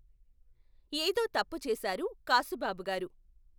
ఏదో తప్పు చేసారు కాసుబాబు గారు.